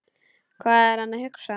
Hvað er hann að hugsa?